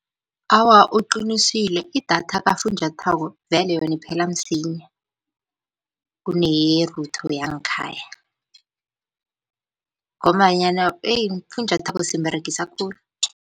Awa, uqinisile idatha kafunjathwako vele yona iphela msinya kuneye-router yangekhaya, ngombanyana eyi ufunjathwako simberegisa khulu.